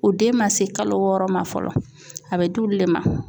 O den man se kalo wɔɔrɔ ma fɔlɔ a bɛ d'olu le ma.